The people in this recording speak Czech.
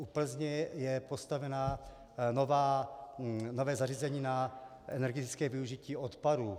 U Plzně je postavené nové zařízení na energetické využití odpadů.